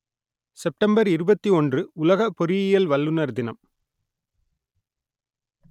September இருபத்தி ஒன்று உலக பொறியியல் வல்லுனர் தினம்